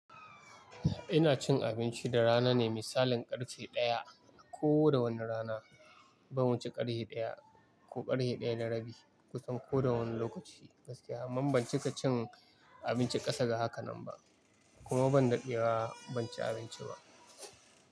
Ina cin abinci da rana ne, misalin ƙarshe ɗaya ko da wani rana. Ban wuce ƙarhe ɗaya ko ƙarhe ɗaya na rabi kusan ko da wani lokaci gaskiya. Amma ban cika cin abinci ƙasa da haka nan ba kuma ban daɗewa ban ci abinci ba.